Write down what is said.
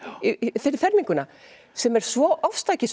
fyrir ferminguna sem er svo ofstækisfull